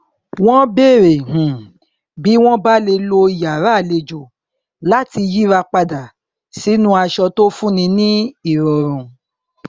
wọn bèrè um bí wọn bá lè lo yàrá àlejò láti yíra padà sínú aṣọ tó fún ni ní ìrọrùn